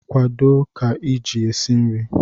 kwado ka iji esi nri!